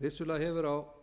vissulega hefur á